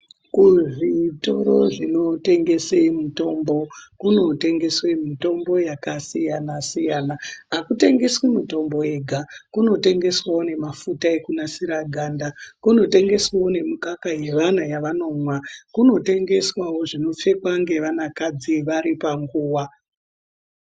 Kuzvitoro zvinotengese mutombo kunotengeswe mitombo yakasiyana siyana akutengeswi mitombo yega kunotengeswawo nemafuta ekunasira ganda kunotengeswawo nemukaka yevana yavanomwa kunotengeswawo zvinopfekwa ngevanakadzi vari panguwa.